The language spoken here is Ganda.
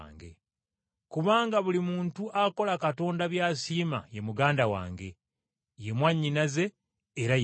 Kubanga buli muntu akola Katonda by’asiima ye muganda wange, ye mwannyinaze era ye mmange.”